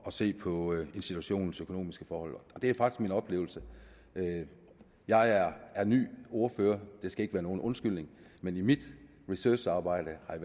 at se på institutionens økonomiske forhold det er faktisk min oplevelse jeg er ny ordfører det skal ikke være nogen undskyldning men i mit researcharbejde har